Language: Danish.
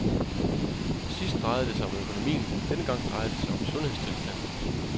Sidst drejede det sig om økonomien, denne gang drejer det sig om sundhedstilstanden.